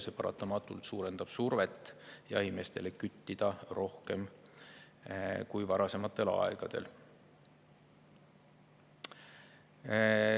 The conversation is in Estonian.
See paratamatult suurendab survet jahimeestele küttida rohkem kui varasematel aegadel.